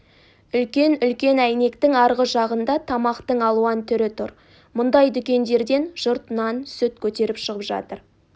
үлкен-үлкен әйнектің арғы жағында тамақтың алуан түрі тұр мұндай дүкендерден жұрт нан сүт көтеріп шығып жатыр